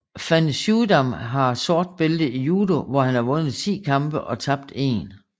Van Suijdam har sort bælte i judo hvor han har vundet 10 kampe og tabt 1